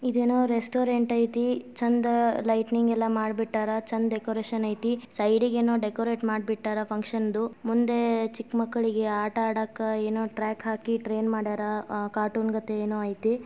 ಇದೇನೋ ರೆಸ್ಟೋರೆಂಟ್ ಐತಿ ಚಂದ ಲೈಟೇನಿಂಗ್ ಎಲ್ಲಾ ಮಾಡಿಬಿಟ್ಟಾರ ಚಂದ್ ಡೆಕೋರೇಷನ್ ಐತಿ. ಸೈಡ್ ಇಗೆ ಏನೋ ಡೆಕೋರಟ್ ಮಾಡಿಬಿಟ್ಟಾರ ಫಂಕ್ಷನ್ ದು. ಮುಂದೆ ಚಿಕ್ಕ ಮಕ್ಕಳಿಗೆ ಆಟ ಆಡಾಕ ಏನೋ ಟ್ರ್ಯಾಕ್ ಹಾಕಿ ಟ್ರೈನ್ ಮಾಡ್ಯಾರ. ಅಹ್ ಕಾರ್ಟೂನ್ ಗತೆ ಏನೋ ಐತಿ.